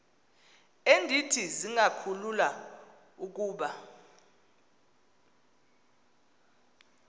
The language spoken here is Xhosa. endithi zingakhulula ukuba